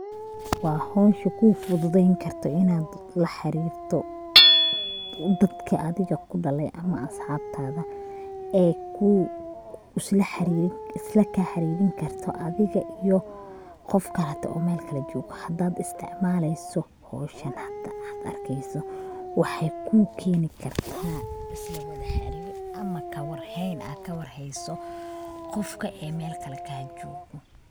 Waa howsha kuu fududeyn karto inad la xaarirto dadka adiga kudhaale ama asxabtaada ee isla kaa xariirinkarto adiga iyo qofka oo Mel kale jogo hadad isticmaaleyso howshan hada ad arkeeyso waxay kukeeni karta islawada xaarir ama kawar hayn ad kawar hayso qofka ee Mel kale kaajogo